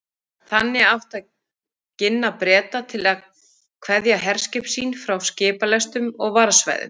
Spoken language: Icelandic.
Þannig átti að ginna Breta til að kveðja herskip sín frá skipalestum og varðsvæðum